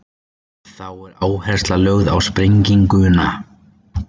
Þá er áhersla lögð á sprenginguna.